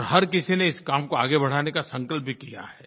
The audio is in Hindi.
और हर किसी ने इस काम को आगे बढ़ाने का संकल्प भी किया है